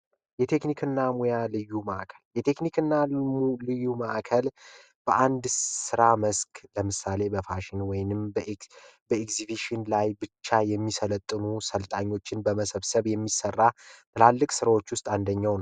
የቴክኒክ እና ሙያ ልዩ ማዕከል የቴክኒክ እና ሙያ ልዩ ማዕከል በአንድ ስራ መስክ ለምሳሌ በፋሽን ዲዛይን ኢግዚቢሽን ላይ ብቻ የሚሰለጥኑ አሰልጣኞችን በመሰብሰብ የሚሰራ ትላልቅ ስራዎች ውስጥ አንዱ ነው።